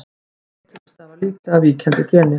Hvíti liturinn stafar líklega af víkjandi geni.